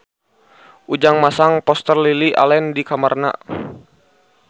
Ujang masang poster Lily Allen di kamarna